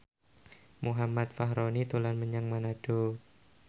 Muhammad Fachroni dolan menyang Manado